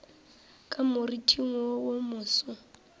ka moriting wo wo moso